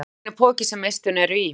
Pungurinn er poki sem eistun eru í.